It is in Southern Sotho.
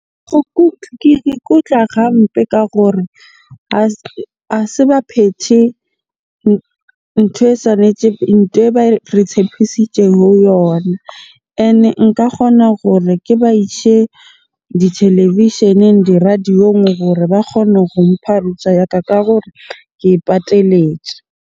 Ke ikutlwa gampe ka gore ha se ba phethe ntho e ntho e ba re tshepisitjeng yona. Ene nka kgona gore ke ba ise ditelevisheneng, di radio-ong gore ba kgone go mpha ya ka ka gore ke e pateletse.